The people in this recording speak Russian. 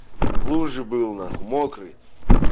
в луже был нахуй мокрый